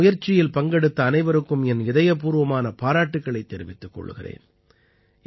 நான் இந்த முயற்சியில் பங்கெடுத்த அனைவருக்கும் என் இதயப்பூர்வமான பாராட்டுக்களைத் தெரிவித்துக் கொள்கிறேன்